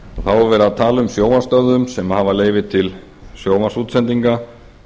þá er verið að tala um sjónvarpsstöðvar sem hafa leyfi til sjónvarpsútsendinga